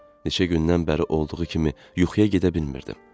Neçə gündən bəri olduğu kimi yuxuya gedə bilmirdim.